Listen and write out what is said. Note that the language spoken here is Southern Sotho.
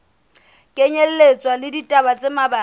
kenyelletswa le ditaba tse mabapi